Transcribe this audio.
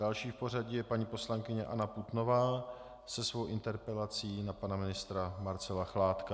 Další v pořadí je paní poslankyně Anna Putnová se svou interpelací na pana ministra Marcela Chládka.